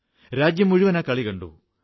രാജ്യംമുഴുവൻ ആ കളി കണ്ടു